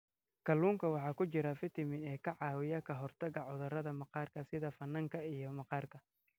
Kalluunka waxaa ku jira fiitamiin e ka caawiya ka hortagga cudurrada maqaarka sida finanka iyo maqaarka.